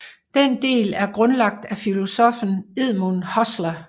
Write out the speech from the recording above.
Den del er grundlagt af filosoffen Edmund Husserl